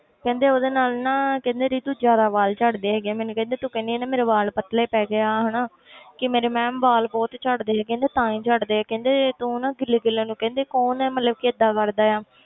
ਕਹਿੰਦੇ ਉਹਦੇ ਨਾਲ ਨਾ ਕਹਿੰਦੇ ਰੀਤੂ ਜ਼ਿਆਦਾ ਵਾਲ ਝੜਦੇ ਹੈਗੇ ਆ, ਮੈਨੂੰ ਕਹਿੰਦੇ ਤੂੰ ਕਹਿੰਦੀ ਆਂ ਨਾ ਮੇਰੇ ਵਾਲ ਪਤਲੇ ਪੈ ਗਏ ਆ ਹਨਾ ਕਿ ਮੇਰੇ ma'am ਵਾਲ ਬਹੁਤ ਝੜਦੇ ਹੈਗੇ ਨੇ, ਤਾਂ ਹੀ ਝੜਦੇ ਆ ਕਹਿੰਦੇ ਤੂੰ ਨਾ ਗਿੱਲੇ ਗਿੱਲੇ ਨੂੰ ਕਹਿੰਦੇ ਕੌਣ ਮਤਲਬ ਕਿ ਏਦਾਂ ਕਰਦਾ ਆ,